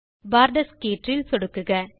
Porter's கீற்றில் சொடுக்குக